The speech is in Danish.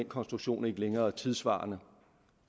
konstruktion ikke længere tidssvarende